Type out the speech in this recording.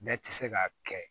Bɛɛ tɛ se k'a kɛ